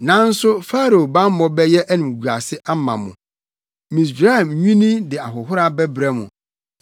Nanso Farao bammɔ bɛyɛ animguase ama mo, Misraim nwini de ahohora bɛbrɛ mo.